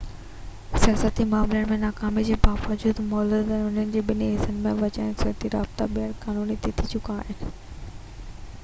سياسي معاملن ۾ ناڪامي جي باوجود مولودووا جي انهن ٻنهي حصن وچان اقتصادي رابطا ٻيهر قائم ٿي چڪا آهن